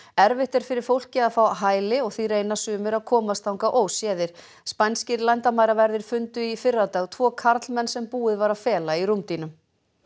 erfitt er fyrir fólkið að fá hæli og því reyna sumir að komast þangað óséðir spænskir landamæraverðir fundu í fyrradag tvo karlmenn sem búið var að fela í rúmdýnum